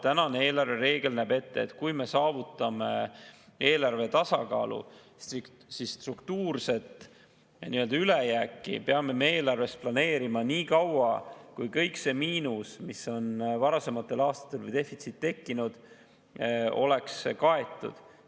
Tänane eelarvereegel näeb ette, et kui me saavutame eelarvetasakaalu, siis struktuurset ülejääki peame me eelarves planeerima nii kaua, kui kogu see miinus või defitsiit, mis on varasematel aastatel tekkinud, oleks kaetud.